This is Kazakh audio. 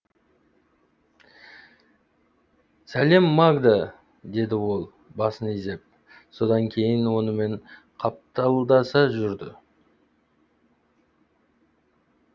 сәлем магда деді ол басын изеп сонан кейін онымен қапталдаса жүрді